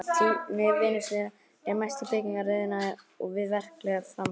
Tíðni vinnuslysa er mest í byggingariðnaði og við verklegar framkvæmdir.